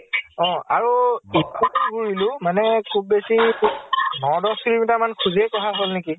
অ । আৰু দিফু তে ঘুৰিলো মানে খুব বেছি ন দশ kilometer মানে খুজই কাঢ়া হʼল নেকি ?